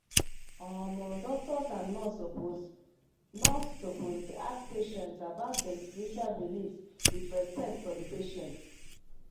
omo doctors and nurse supposed nurse supposed dey ask patients about them spiritual beliefs with respect for the patient